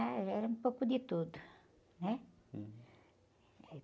Ah, era um pouco de tudo, né?